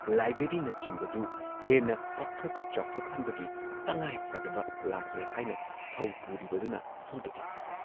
ꯂꯥꯏꯕ꯭ꯔꯦꯔꯤꯅꯆꯤꯡꯕꯗꯨ ꯍꯦꯟꯅ ꯄꯥꯛꯊꯣꯛ ꯆꯥꯎꯊꯣꯛꯍꯟꯕꯒꯤ ꯇꯉꯥꯏꯐꯗꯕ ꯂꯥꯛꯂꯦ ꯍꯥꯏꯅ ꯊꯧ ꯄꯨꯔꯤꯕꯗꯨꯅ ꯐꯣꯡꯗꯣꯛꯏ ꯫